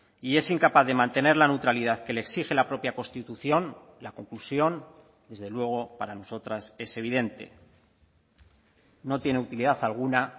y es incapaz de mantener la neutralidad que le exige la propia constitución la conclusión desde luego para nosotras es evidente no tiene utilidad alguna